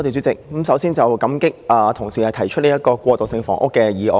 首先，感激同事提出這項關於過渡性房屋的議案。